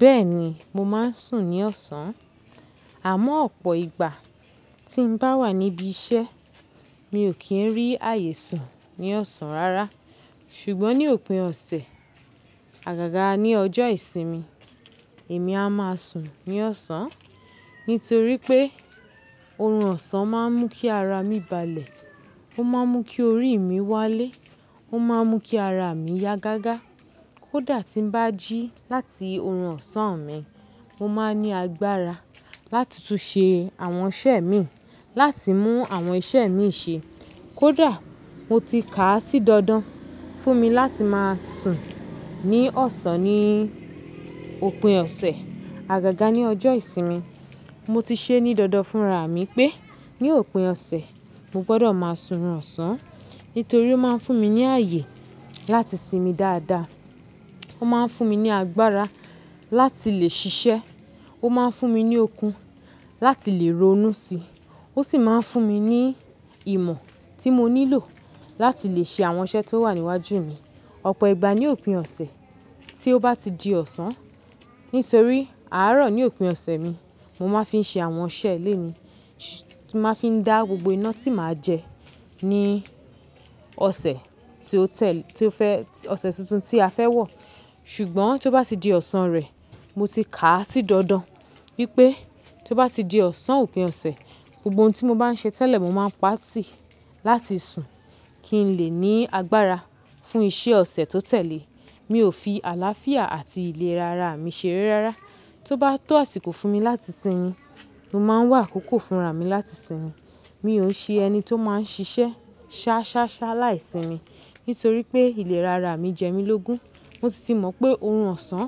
Bẹ́ẹ̀ni, mo máa ń sùn ní ọ̀sán. Àmọ́ ọ̀pọ̀ ìgbà tí n bá wà níbí iṣẹ́, mi ò kí ń rí ààyè sùn ní ọ̀sán rárá. Ṣùgbọ́n ní òpin ọ̀sẹ̀, àgàgà ní ọjọ́ ìsinmi, èmi a máa sùn ní ọ̀sán. Nítorí pé, oorun ọ̀sán máa ń mú kí ara mi balẹ̀. Ó máa ń mú kí orí mi wálé. Ó máa ń mú kí ara mi yá gágá. Kódà tí ń bá jí láti oorun ọ̀sán mi, mo máa ní agbára láti tún ṣe àwọn iṣẹ́ mi, láti mú àwọn iṣẹ́ mi ṣe. Kódà mo ti kà á sí dandan fún mi láti máa sùn ní ọ̀sán ní òpin ọ̀sẹ̀, àgàgà ní ọjọ́ ìsinmi. Mo ti ṣe ní dandan fún ra mi pé ní òpin ọ̀sẹ̀, mo gbọdọ̀ máa sun oorun ọ̀sán. Nítorí ó máa ń fún mi ní ààyè láti sinmi dáadáa. Ó máa ń fún mi ní agbára láti lè ṣiṣẹ́. Ó máa ń fún mi ní okun láti lè ronú si. Ó sì máa ń fún mi ní ìmọ̀ tí mo nílò láti lè ṣe àwọn iṣẹ́ tó wà níwájú mi. Ọ̀pọ̀ ìgbà ní òpin ọ̀sẹ̀, tí ó bá ti di ọ̀sán, nítorí àárọ̀ ni òpin ọ̀sẹ̀ mi, mo máa ń fi ṣe àwọn iṣẹ́ lẹ́ní. Mo máa ń fi dá gbogbo iná tí màá jẹ ní ọ̀sẹ̀ tí ó tẹ̀l- tí ó fẹ́, ọ̀sẹ̀ tuntun tí a fẹ́ wọ̀. Ṣùgbọ́n tí ó bá ti di ọ̀sán rẹ̀, mo ti kà á sí dandan wípé tí ó bá ti di ọ̀sán òpin ọ̀sẹ̀, gbogbo ohun tí mo bá ń ṣe tẹ́lẹ̀, mo máa pa á tì láti sùn kí ń lè ní agbára fún iṣẹ́ ọ̀sẹ̀ tó tẹ̀lé. Mi ò fi àlàáfíà àti ìlera ara mi ṣeré rárá. Tó bá tó àsìkò fún mi láti sinmi, mo máa ń wà akoko fún ra mi láti sinmi. Mi ò ṣe ẹni tí ó máa ń ṣiṣẹ́ ṣá ṣá ṣá láì sinmi. Nítorí pé ìlera ara mi jẹ mí lógún. Mo sì ti mọ̀ pé oorun ọ̀sán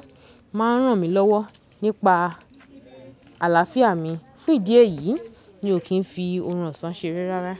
máa ń ràn mí lọ́wọ́ nípa àlàáfíà mi. Ní idí e yìí, mi ò kí ń fi oorun ọ̀sán ṣeré rárá.